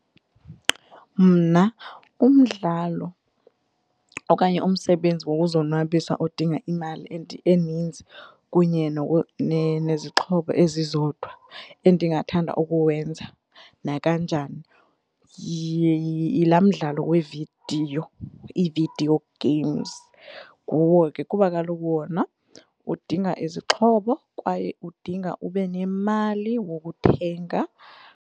Mna umdlalo okanye umsebenzi wokuzonwabisa odinga imali and eninzi kunye nezixhobo ezizodwa endingathanda ukuwenza nakanjani yilaa mdlalo wevidiyo, ii-video games nguwo ke kuba kaloku wona udinga izixhobo kwaye udinga ube nemali wokuthenga.